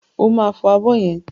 Ó máa fọ abọ́ yẹn.